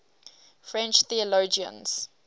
french theologians